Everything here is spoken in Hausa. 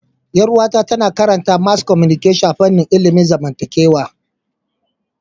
Yar uwata tana karanta mass communication a fanin ilimin zamantakewa